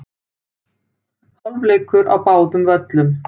Hálfleikur á báðum völlum